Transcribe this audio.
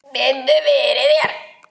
Biddu fyrir þér!